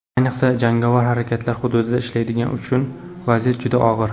Ayniqsa jangovar harakatlar hududida ishlaydiganlar uchun vaziyat juda og‘ir.